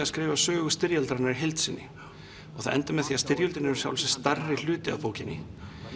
að skrifa sögu styrjaldarinnar í heild sinni og það endar með að styrjöldin er í sjálfu sér stærri hluti af bókinni